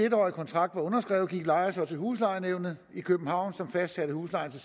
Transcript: en årig kontrakt var underskrevet gik lejer så til huslejenævnet i københavn som fastsatte huslejen til